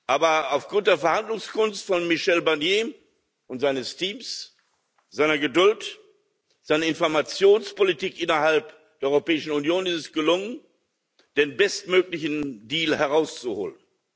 Aber aufgrund der Verhandlungskunst von Michel Barnier und seines Teams, seiner Geduld und seiner Informationspolitik innerhalb der Europäischen Union ist es gelungen, den bestmöglichen Deal herauszuholen.